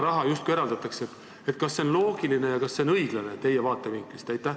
Kas see on loogiline ja kas see on õiglane teie vaatevinklist?